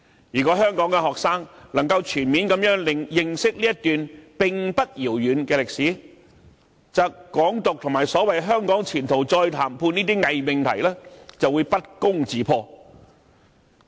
如果香港學生能夠全面認識這段並不遙遠的歷史，則"港獨"和所謂"香港前途再談判"等偽命題就會不攻自破。